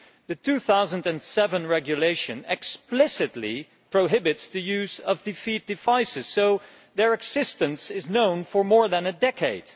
The 2007 regulation explicitly prohibits the use of defeat devices, so their existence has been known for more than a decade.